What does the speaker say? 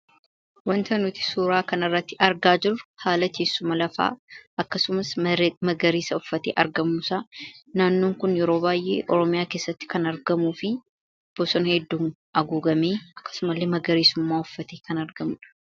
wanta nuti suuraa kana irratti argaa jiru haala teessuma lafaa akkasumas magariisa uffatee argamuusa naannoon kun yeroo baay'ee oromiyaa keessatti kan argamuu fi bosona hedduu aguugamee akkasumallee magariisummaa uffatee kan argamudha